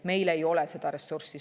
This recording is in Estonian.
Meil ei ole seda ressurssi.